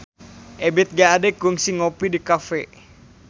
Ebith G. Ade kungsi ngopi di cafe